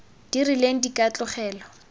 di rileng di ka tlogelwa